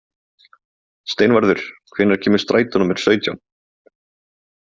Steinvarður, hvenær kemur strætó númer sautján?